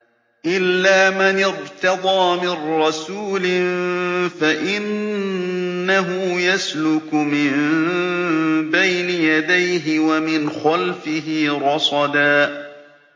إِلَّا مَنِ ارْتَضَىٰ مِن رَّسُولٍ فَإِنَّهُ يَسْلُكُ مِن بَيْنِ يَدَيْهِ وَمِنْ خَلْفِهِ رَصَدًا